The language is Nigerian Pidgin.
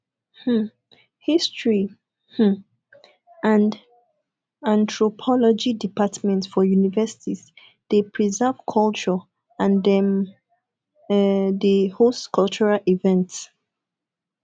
um history um and anthropology department for universities de preserve culture and dem um de host cultural events